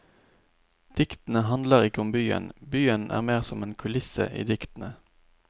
Diktene handler ikke om byen, byen er mer som en kulisse i diktene.